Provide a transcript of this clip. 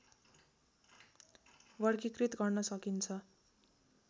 वर्गीकृत गर्न सकिन्छ